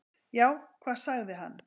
"""Já, hvað sagði hann?"""